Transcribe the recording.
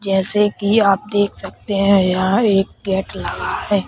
जैसे की आप यहां देख सकते हैं एक गेट लगा है।